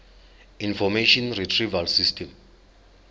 information retrieval system